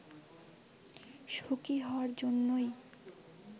সুখি হওয়ার জন্যই